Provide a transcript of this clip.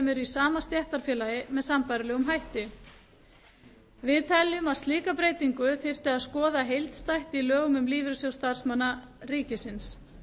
í sama stéttarfélagi með sambærilegum hætti telur meiri hlutinn að slíka breytingu þyrfti að skoða heildstætt í lögum um lífeyrissjóð starfsmanna ríkisins